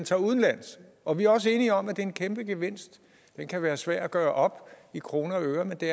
tager udenlands og vi er også enige om at det er en kæmpegevinst det kan være svært at gøre op i kroner og øre men det